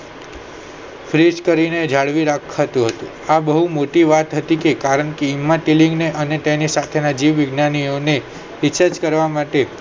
freeze કરીને જાળવી રાખતું હતું આ બહુ મોટી વાત હતી કારણ કે એમ્મા તેલલિંગને અને તેની સાથેના જીવવિજ્ઞાનીઓને research કરવા માટે